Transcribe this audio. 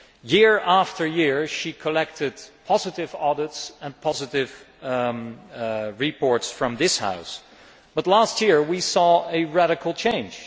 Year after year she collected positive audits and positive reports from this House, but last year we saw a radical change.